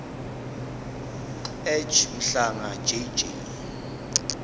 ej mhlanga jj